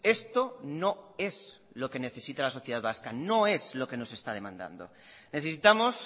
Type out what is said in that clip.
esto no es lo que necesita la sociedad vasca no es lo que nos está demandando necesitamos